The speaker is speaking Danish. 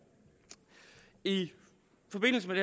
i forbindelse med